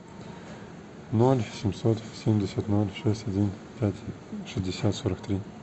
ноль семьсот семьдесят ноль шесть один пять шестьдесят сорок три